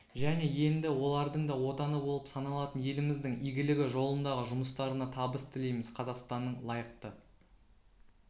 және енді олардың да отаны болып саналатын еліміздің игілігі жолындағы жұмыстарына табыс тілейміз қазақстанның лайықты